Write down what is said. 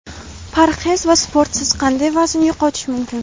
Parhez va sportsiz qanday vazn yo‘qotish mumkin?.